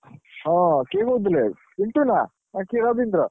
ହଁ କିଏ କହୁଥିଲେ? ପିଣ୍ଟୁ ନା ନା କିଏ ରବୀନ୍ଦ୍ର?